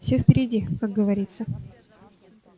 все впереди как говорится